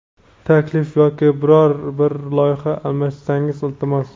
taklif yoki biror bir loyiha almashsangiz iltimos.